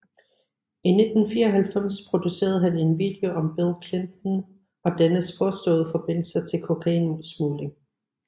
I 1994 producerede han en video om Bill Clinton og dennes påståede forbindelser til kokainsmugling